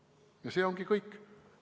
Ja see ongi kõik.